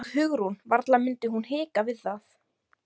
Og Hugrún, varla mundi hún hika við það.